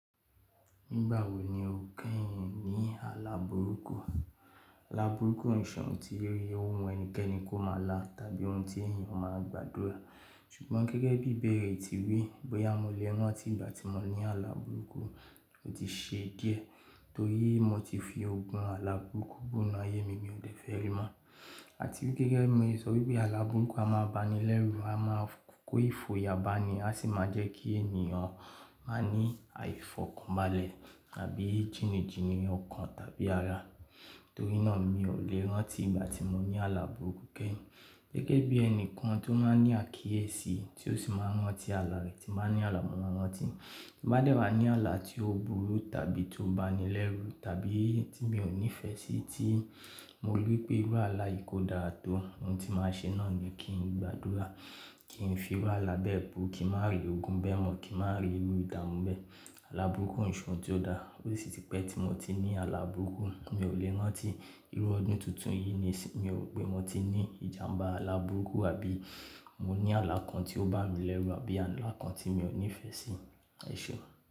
Nígbà wo ni o kẹ́yin ní àlá burúkú? Àlá burúkú o n ṣe oun ti ó wù ẹnikẹ́ni kó máa lá tàbí ohun tí èèyàn máa gbàdúrà. Ṣùgbọ́n gẹ́gẹ́ bí bẹ̀rẹ̀ ti rí, bóyá mo lè rántí ìgbà tí mo ní àlá burúkú, ó ti ṣe díẹ̀ torí mo ti fi ogun àlá burúkú bú inú ayé mi ní ọdẹ fẹ́ri mọ. Àti wípé gẹ́gẹ́ bi mo ṣe so wipe pé àlá burúkú a máa n banilẹ́rú, a máa kó ìfòyà bá a ni, a sì máa jẹ́ kí ènìyàn má ní àìfọ̀kànbalẹ̀ tàbí jìnjìnì ọkàn tàbí ara. Torí náà mi ò lè rántí ìgbà tí mo ní àlá burúkú kẹ́yin. Gẹ́gẹ́ bí ẹnìkan tó máa ń ní àkíyèsí tí ó sì máa ń rántí àlá rẹ̀ tí máa ń ní àlà mo ma n rántí. Bí mo bá dẹ́wa ní àlá tí ó burú tàbí tó banilẹ́rú tàbí tí mi ò nífẹ̀ẹ́ sí i tí mo rí wipé irú àlá yìí kò dára tó ohun tí màá ṣe náà ni kí n gbàdúrà, kí n fi wá àlá bẹ́ẹ̀ bú, kí màá rí ogun bẹ́ẹ̀ mọ̀, kí màá rí irú ìdààmú bẹ́ẹ̀, àlá burúkú nì Ṣoun tí ó dára. Ó sì ti pẹ́ tí mo ti ní àlá burúkú, mi ò lè rántí. Irú ọdún tuntun yìí ni sin mi ò ro pé mo ti ní ìjàǹbá àlá burúkú àbí mo ní àlá kan tí ó bá mi lẹ́rú àbí àlá kan tí mi ò nífẹ̀ẹ́ sí i, ẹṣe.